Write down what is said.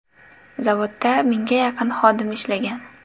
Zavodda mingga yaqin xodim ishlagan.